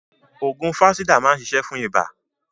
Ògùn Fansidar maa ni ṣiṣe fún iba.